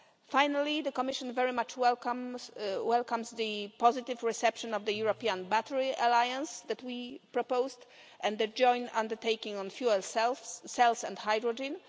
Finally, the Commission very much welcomes the positive reception of the European battery alliance that we proposed and the joint undertaking on fuel cells and hydrogen.